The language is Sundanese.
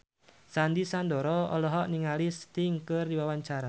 Sandy Sandoro olohok ningali Sting keur diwawancara